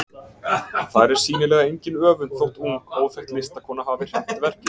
Þar er sýnilega engin öfund þótt ung, óþekkt listakona hafi hreppt verkið.